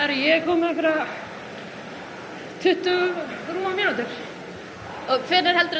ég er komin með tuttugu mínútur hvenær er þetta